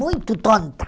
Muito tonta.